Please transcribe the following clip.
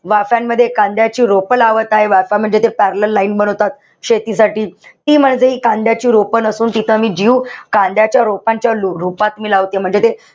वाफ्यांमध्ये कांद्याची रोपं लावताय. वाफा म्हणजे ते parellel line बनवतात शेतीसाठी. ती म्हणजे कांद्याची रोपं नसून तिथं मी जीव कांद्याच्या रोपांच्या रूपात मी लावतीये. म्हणजे,